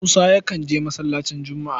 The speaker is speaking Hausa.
Musa yakan je masallacin Jumu'a.